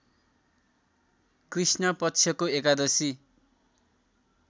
कृष्ण पक्षको एकादशी